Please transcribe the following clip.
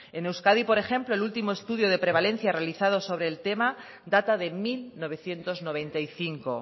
en euskadi por ejemplo el último estudio de prevalencia realizado sobre el tema data de mil novecientos noventa y cinco